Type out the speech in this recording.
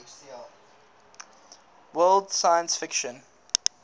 world science fiction